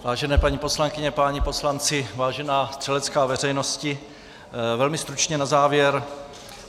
Vážené paní poslankyně, páni poslanci, vážená střelecká veřejnosti, velmi stručně na závěr.